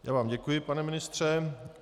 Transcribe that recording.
Já vám děkuji, pane ministře.